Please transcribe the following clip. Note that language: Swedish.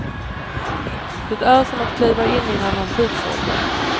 Det är som att kliva in i en annan tidsålder.